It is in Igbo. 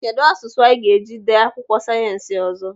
Kedụ asụsụ anyị ga-eji dee akwụkwọ sayensị ọzọ?